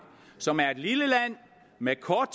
som er et lille land med kort